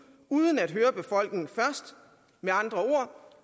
uden først at høre befolkningen med andre